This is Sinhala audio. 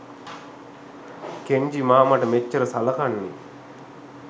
කෙන්ජි මාමට මෙච්චර සලකන්නේ.